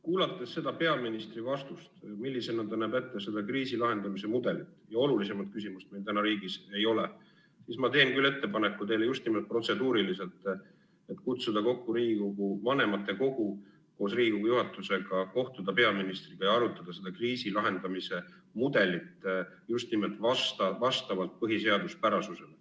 Kuulates seda peaministri vastust, millisena ta näeb ette seda kriisi lahendamise mudelit – ja olulisemat küsimust meil praegu riigis ei ole –, ma teen küll teile ettepaneku, just nimelt protseduuriliselt, kutsuda kokku Riigikogu vanematekogu koos Riigikogu juhatusega, kohtuda peaministriga ja arutada seda kriisi lahendamise mudelit vastavalt põhiseadusele.